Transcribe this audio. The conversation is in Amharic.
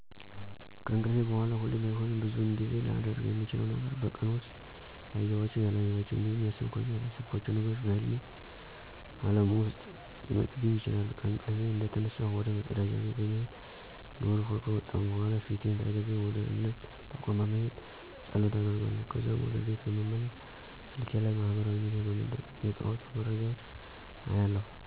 ከእንቅልፌ በሗላ ሁሌ ባይሆንም ብዙውን ጊዜ ላደርግ ምችለው ነገር በቀን ውስጥ ያዬኋቸው፣ ያላየኋቸው እንዲሁም ያሰብኳቸው፣ ያላሰብኳቸው ነገሮች በህልሜ ዓለም ውስጥ ሊመጡብኝ ይችላሉ። ከእንቅልፌ እንደተነሳሁ ወደ መፀዳጃ ቤት በመሄድ ግብር ውኃ ከወጣሁ በኃላ ፊቴን ታጥቤ ወደ እምነት ተቋም በመሄድ ፀሎት አደርጋለሁ። ከዛም ወደ ቤት በመመለስ ስልኬ ላይ ማህበራዊ ሚዲያ በመጠቀም የጠዋቱን መረጃዎች አያለሁ።